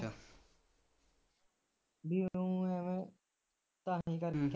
ਨੂੰ ਐਵੇ